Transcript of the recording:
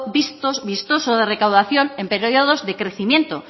vistoso de recaudación en periodos de crecimiento